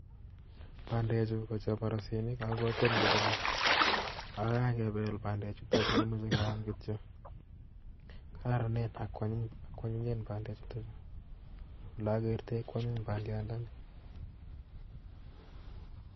Bandechu ko chebarusinik ako tom koruryo ago kakebel bandechu komoche keam kityo. Kararanen ak kwanyinen bandechuton chu. Olokertoi kwanyin bandiandani